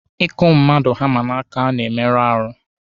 Ịkụ mmadụ hama n'aka na-emerụ ahụ.